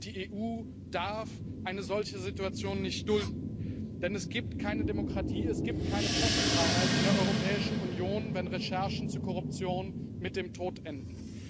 Die EU darf eine solche Situation nicht dulden, denn es gibt keine Demokratie, es gibt keine Pressefreiheit in der Europäischen Union, wenn Recherchen zu Korruption mit dem Tod enden.